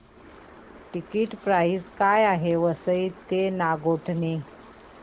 ticket price काय आहे Vasai road ते नागोठणे